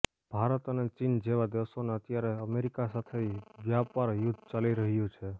ભારત અને ચીન જેવા દેશોને અત્યારે અમેરિકા સાથે વ્યાપાર યુદ્ધ ચાલી રહ્યું છે